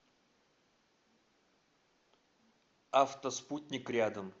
автоспутник рядом